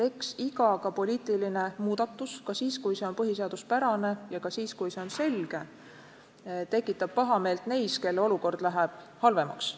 Eks iga, ka poliitiline muudatus, ka siis, kui see on põhiseaduspärane, ja ka siis, kui see on selge, tekitab pahameelt neis, kelle olukord läheb halvemaks.